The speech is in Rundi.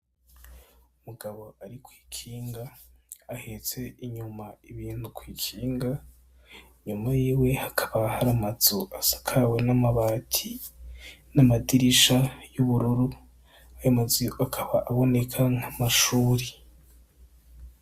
Umugabo ari kwi kinga ahetse inyuma ibintu kwi kinga inyuma yiwe hakaba hari amazu asakawe n' amabati n' amadirisha y' ubururu ayo ma zu akaba aboneka nk'amashuri.